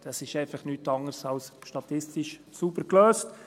Das ist einfach nichts anderes als statistisch sauber gelöst.